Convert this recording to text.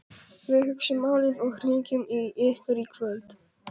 Við hugsum málið og hringjum í ykkur í kvöld